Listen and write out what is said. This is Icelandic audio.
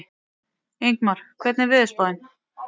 Ingmar, hvernig er veðurspáin?